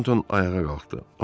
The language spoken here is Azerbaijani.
Tornton ayağa qalxdı.